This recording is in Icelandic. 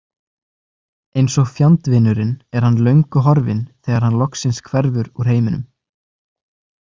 Eins og fjandvinurinn er hann löngu horfinn þegar hann loksins hverfur úr heiminum.